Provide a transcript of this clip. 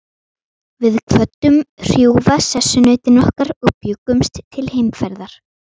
Við kvöddum hrjúfa sessunautinn okkar og bjuggumst til heimferðar.